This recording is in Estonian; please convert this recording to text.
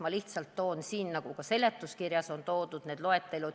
Ma lihtsalt esitan siin, nagu ka seletuskirjas on esitatud, selle loetelu.